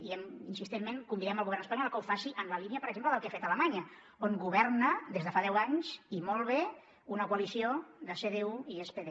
i insistentment convidem el govern espanyol a que ho faci en la línia per exemple del que ha fet alemanya on governa des de fa deu anys i molt bé una coalició de cdu i spd